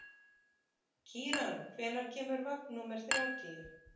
Kíran, hvenær kemur vagn númer þrjátíu?